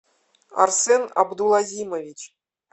арсен абдулазимович